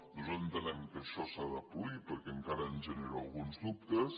nosaltres entenem que això s’ha de polir perquè encara ens genera alguns dubtes